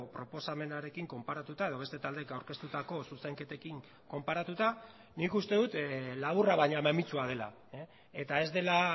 proposamenarekin konparatuta edo beste taldeek aurkeztutako zuzenketekin konparatuta nik uste dut laburra baina mamitsua dela eta ez dela